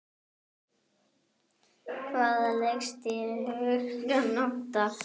Hvaða leikstíl hyggstu nota?